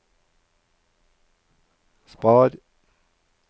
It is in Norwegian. spar